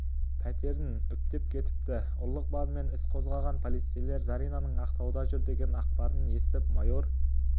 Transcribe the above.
пәтерін үптеп кетіпті ұрлық бабымен іс қозғаған полицейлер заринаның ақтауда жүр деген ақпарын естіп майор